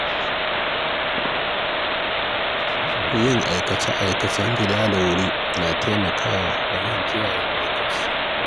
Yin aikace-aikacen gida da wuri na taimakawa wajen kula da kiyaye lokaci.